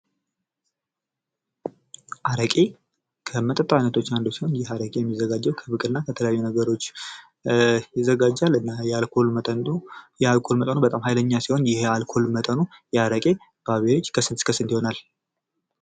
አረቄ ከመጠጥ አይነቶች ዉስጥ፡አንዱ ሲሆን ይህ አረቄ የሚዘጋጀው ከብቅል እና ከተለያዩ ነገሮች ይዘጋጃል እና የአልኮል መጠኑ በጣም ሃይለኛ ሲሆን፤ ይህ የአልኮል መጠኑ የአረቄ በአቬሬጅ ከስንት እስከ ስንት ይሆናል?